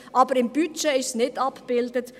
Aber im Budget ist es nicht abgebildet.